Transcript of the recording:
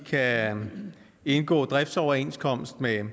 kan indgå driftsoverenskomst med